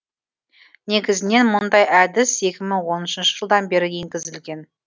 негізінен мұндай әдіс екі мың оныншы жылдан бері енгізілген